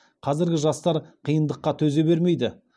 қазіргі жастар қиындыққа төзе бермейді